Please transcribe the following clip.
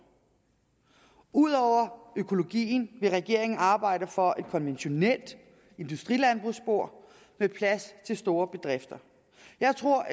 ud over økologien vil regeringen arbejde for et konventionelt industrilandbrugsspor med plads til store bedrifter jeg tror